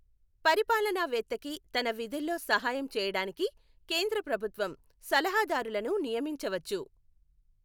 పరిపాలనవేత్తకి తన విధుల్లో సహాయం చేయడానికి కేంద్ర ప్రభుత్వం సలహాదారులను నియమించవచ్చు.